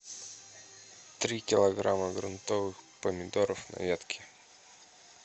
три килограмма грунтовых помидоров на ветке